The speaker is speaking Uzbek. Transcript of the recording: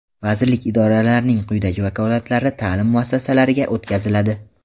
vazirlik (idora)larning quyidagi vakolatlari taʼlim muassasalariga o‘tkaziladi:.